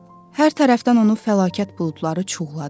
Hər tərəfdən onu fəlakət buludları cuğladı.